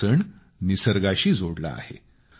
हा सण निसर्गाशी जोडला आहे